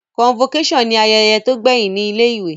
Convocation ni ayẹyẹ to gbẹhin ni ilé ìwé